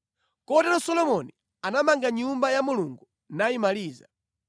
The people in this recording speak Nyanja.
Kotero Solomoni anamanga Nyumba ya Mulungu nayimaliza.